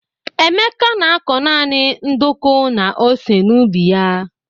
Emeka na-akọ naanị nduku na ose n'ubi ya.